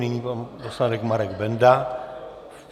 Nyní pan poslanec Marek Benda.